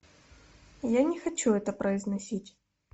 я не хочу это произносить